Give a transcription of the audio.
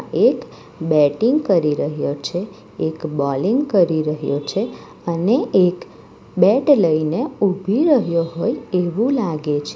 એક બેટિંગ કરી રહ્યો છે એક બોલિંગ કરી રહ્યો છે અને એક બેટ લઈને ઉભી રહ્યો હોય એવું લાગે છે.